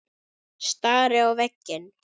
Stari á veginn.